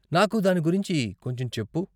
నాకు దాని గురించి కొంచెం చెప్పు.